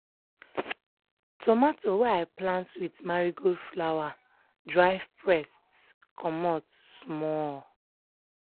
tomato wey i plant with marigold flower drive pests comot small.